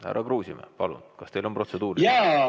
Härra Kruusimäe, palun, kas teil on protseduuriline?